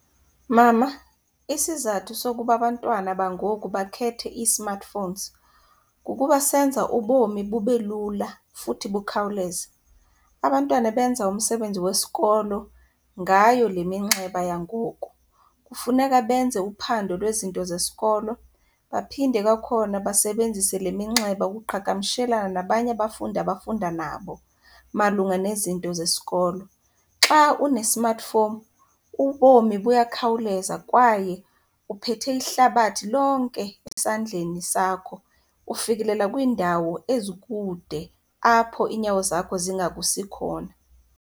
Mama, isizathu sokuba abantwana bangoku bakhethe i-smart phones kukuba senza ubomi bube lula futhi bukhawuleze. Abantwana benza umsebenzi wesikolo ngayo le minxeba yangoku. Kufuneka benze uphando lwezinto zesikolo baphinde kwakhona basebenzise le minxeba ukuqhagamshelana nabanye abafundi abafunda nabo malunga nezinto zesikolo. Xa une-smart phone ubomi buyakhawuleza kwaye uphethe ihlabathi lonke esandleni sakho. Ufikelela kwiindawo ezikude apho iinyawo zakho zingakusi khona.